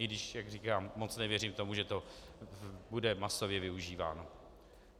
I když, jak říkám, moc nevěřím tomu, že to bude masově využíváno.